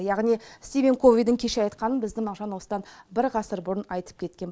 яғни стивен ковидің кеше айтқанын біздің мағжан осыдан бір ғасыр бұрын айтып кеткен